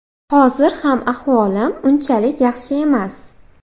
Hozir ham ahvolim unchalik yaxshi emas.